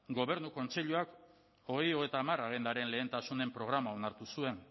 gobernu kontseiluak bi mila hogeita hamar agendaren lehentasunen programa onartu zuen